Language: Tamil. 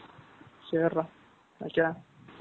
சரிடா. Okay